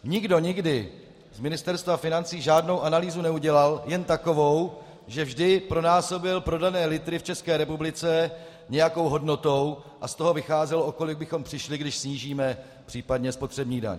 Nikdo nikdy z Ministerstva financí žádnou analýzu neudělal, jen takovou, že vždy vynásobil prodané litry v České republice nějakou hodnotou a z toho vycházel, o kolik bychom přišli, když snížíme případně spotřební daň.